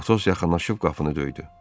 Atos yaxınlaşıb qapını döydü.